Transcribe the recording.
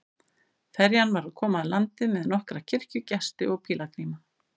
Ferjan var að koma að landi með nokkra kirkjugesti og pílagríma.